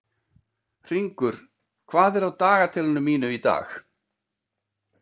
Hringur, hvað er á dagatalinu mínu í dag?